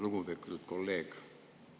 Lugupeetud kolleeg!